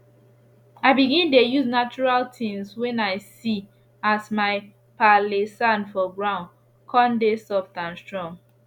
i begin dey use natural tins wen i see as my palee sand for ground con dey soft and strong